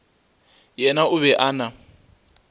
yena o be a na